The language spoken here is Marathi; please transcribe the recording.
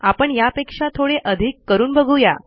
आपण यापेक्षा थोडे अधिक करून बघू या